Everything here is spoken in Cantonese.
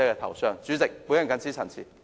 代理主席，我謹此陳辭。